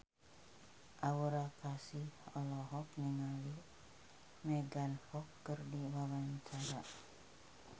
Aura Kasih olohok ningali Megan Fox keur diwawancara